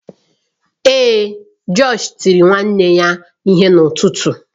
Ee, josh tiri ụmụnne ya ihe n’ụtụtụ.